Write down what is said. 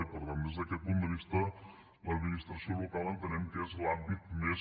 i per tant des d’aquest punt de vista l’administració local entenem que és l’àmbit més